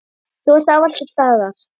Þú varst ávallt til staðar.